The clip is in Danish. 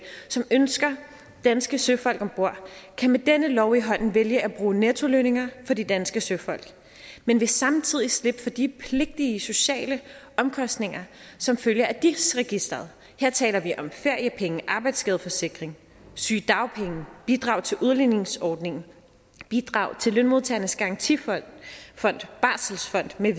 som ønsker danske søfolk om bord kan med denne lov i hånden vælge at bruge nettolønninger for de danske søfolk men vil samtidig slippe for de pligtige sociale omkostninger som følge af dis registeret her taler vi om feriepenge arbejdsskadeforsikring sygedagpenge bidrag til udligningsordningen bidrag til lønmodtagernes garantifond barselsfonden